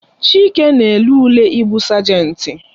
Chike na-ele ule ị bụ sajenti